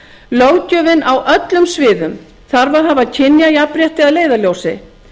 löggjöfin á öllum sviðum þarf að hafa kynjajafnrétti að leiðarljósi